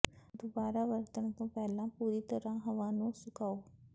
ਦੁਬਾਰਾ ਵਰਤਣ ਤੋਂ ਪਹਿਲਾਂ ਪੂਰੀ ਤਰ੍ਹਾਂ ਹਵਾ ਨੂੰ ਸੁਕਾਓ